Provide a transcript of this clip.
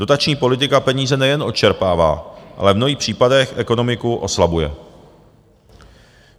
Dotační politika peníze nejen odčerpává, ale v mnohých případech ekonomiku oslabuje.